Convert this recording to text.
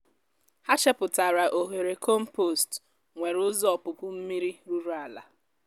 ha chepụtara oghere kọmpost nwere ụzọ ọpụpụ mmiri ruru ala